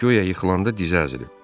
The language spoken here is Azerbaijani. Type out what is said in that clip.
Guya yıxılanda dizi əzilib.